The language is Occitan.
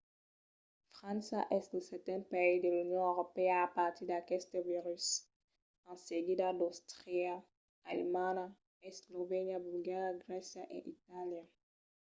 frança es lo seten país de l’union europèa a patir d’aqueste virus; en seguida d’àustria alemanha eslovènia bulgaria grècia e itàlia